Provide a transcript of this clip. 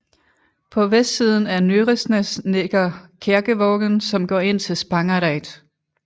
På vestsiden af Nyresnes ligger Kjerkevågen som går ind til Spangereid